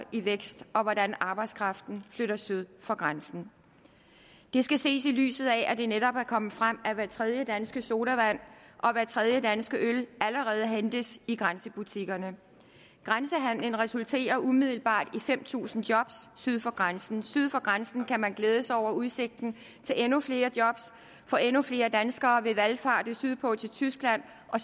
i vækst og hvordan arbejdskraften flytter syd for grænsen det skal ses i lyset af at det netop er kommet frem at hver tredje danske sodavand og hver tredje danske øl allerede hentes i grænsebutikkerne grænsehandelen resulterer umiddelbart i fem tusind job syd for grænsen syd for grænsen kan man glæde sig over udsigten til endnu flere job for endnu flere danskere vil valfarte sydpå til tyskland og